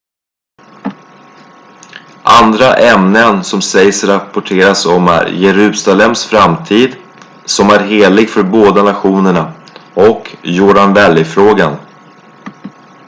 andra ämnen som sägs rapporteras om är jerusalems framtid som är helig för båda nationerna och jordan valley-frågan